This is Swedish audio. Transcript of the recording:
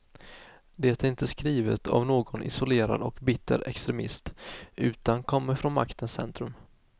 Det är inte skrivet av någon isolerad och bitter extremist, utan kommer från maktens centrum.